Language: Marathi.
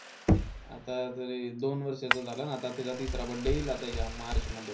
आता तरी दोन वर्षाचा झाला. आता त्याचा तिसरा birthday येईल आता ह्या मार्च मध्ये.